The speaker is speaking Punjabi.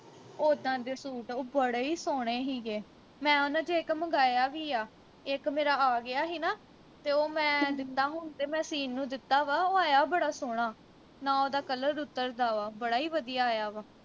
ਉਦਾਂ ਦੇ ਸੂਟ ਉਹ ਬੜੇ ਈ ਸੋਹਣੇ ਹੀਗੇ ਮੈਂ ਉਨ੍ਹਾਂ ਵਿਚੋਂ ਇਕ ਮੰਗਾਇਆ ਵੀ ਆ ਇਕ ਮੇਰਾ ਆ ਗਿਆ ਹੀਨਾ ਤੇ ਉਹ ਮੈਂ ਦਿੱਤਾ ਹੁਣ ਤੇ ਮੈਂ ਸੀਣ ਨੂੰ ਦਿੱਤਾ ਵਾ ਉਹ ਆਇਆ ਬੜਾ ਸੋਹਣਾ ਨਾ ਉਹਦਾ color ਉਤਰਦਾ ਵਾ ਬੜਾ ਈ ਵਧੀਆ ਆਇਆ ਵਾ